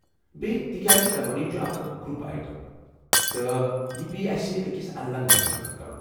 بیٚیہِ، تہ کیٛاز کبٲڈی چھُ اکھ گرُپ ایٹم، تہٕ یہ پیٚیہ اسہ أکس الگ دۄہ منعقد كرُن ۔